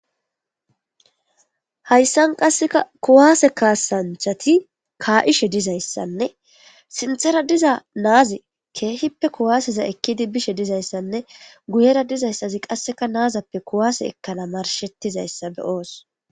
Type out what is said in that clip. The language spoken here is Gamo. Hayisan qaseka ku'ase kasanichati ka'ishe deyisane sinithara diza na'azi kehipe ku'aseza ekidi bishe dizaysanee guyera dizays qasika na'azape ku'ase ekanawu marishetidayisa be'os